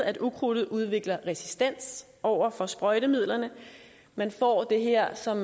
at ukrudtet udvikler resistens over for sprøjtemidlerne man får det her som